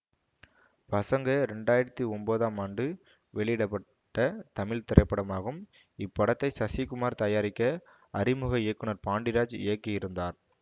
பசங்க இரண்டு ஆயிரத்தி ஒன்பதாம் ஆண்டு வெளியிட பட்ட தமிழ் திரைப்படமாகும் இப்படத்தை சசிகுமார் தயாரிக்க அறிமுக இயக்குனர் பாண்டிராஜ் இயக்கி இருந்தார்